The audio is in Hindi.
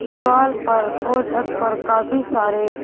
दीवाल पर और छत पर काफी सारे--